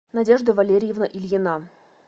надежда валерьевна ильина